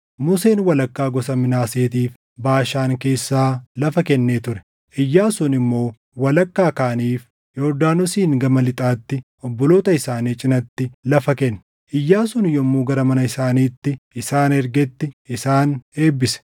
Museen walakkaa gosa Minaaseetiif Baashaan keessaa lafa kennee ture; Iyyaasuun immoo walakkaa kaaniif Yordaanosiin gama lixaatti obboloota isaanii cinatti lafa kenne. Iyyaasuun yommuu gara mana isaaniitti isaan ergetti isaan eebbise;